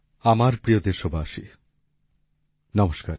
আমার প্রিয় দেশবাসী নমস্কার